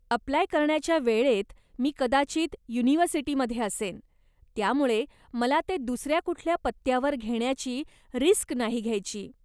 Apply करण्याच्या वेळेत मी कदाचित युनिव्हर्सिटीमध्ये असेन, त्यामुळे मला ते दुसऱ्या कुठल्या पत्त्यावर घेण्याची रिस्क नाही घ्यायची.